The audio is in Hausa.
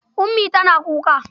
Ummi tana kuka.